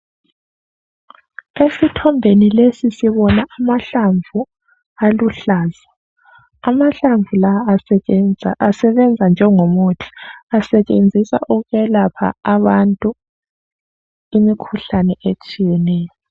Esithombeni lesi sibona amahlamvu aluhlaza , amahlamvu la asebenza njengomuthi , asetshenziswa ukwelapha abantu imikhuhlane etshiyeneyo